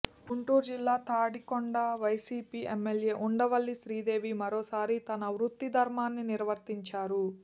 గుంటూరు జిల్లా తాడికొండ వైసీపీ ఎమ్మెల్యే ఉండవల్లి శ్రీదేవి మరోసారి తన వృత్తి ధర్మాన్ని నిర్వర్తించారు